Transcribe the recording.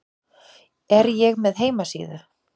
Er ég með heimasíðu?